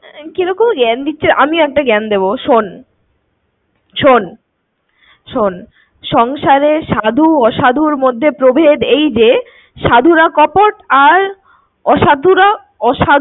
কিরকম জ্ঞান দিচ্ছে। আমিও একটা জ্ঞান দেব। শোন শোন শোন সংসারে সাধু অসাধুর মধ্যে প্রভেদ এই যে সাধুরা কপট আর অসাধুরা অসাধুরা